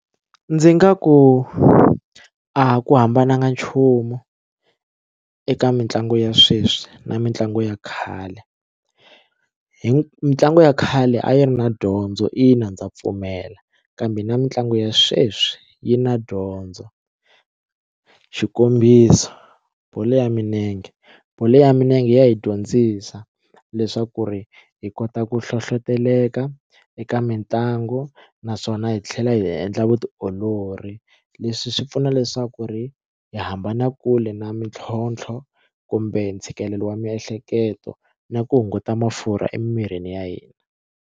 Ndzi nga ku a ku hambananga nchumu eka mitlangu ya sweswi na mitlangu ya khale hi mitlangu ya khale a yi ri na dyondzo ina ndza pfumela kambe na mitlangu ya sweswi yi na dyondzo xikombiso bolo ya milenge bolo ya milenge ya hi dyondzisa leswaku ri hi kota ku hlohloteleka eka mitlangu naswona hi tlhela hi endla vutiolori leswi swi pfuna leswaku ri hi hambana kule na mintlhontlho kumbe ntshikelelo wa miehleketo na ku hunguta mafurha emirini ya hina.